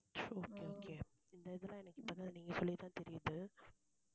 it's okay okay இந்த இதெல்லாம் எனக்கு இப்பதான் நீங்க சொல்லித்தான் தெரியுது.